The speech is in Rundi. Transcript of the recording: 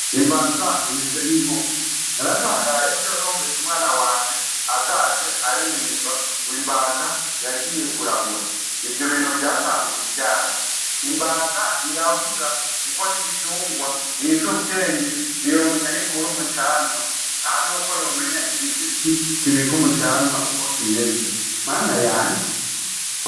Imbata imeze nk'inkoko naratangayejo numvisa umwana wanje atashe aririmba ngo imbata yagiye kurahura ivyo bintu vyatanguye ryari imbata ntirahura, kuko nigitungwa ni'izo ubwenge ni yomenya ahikura umucanwa nane uko yomenya igishitsi kibiko umucaa anwa uko kimeze mana yanje.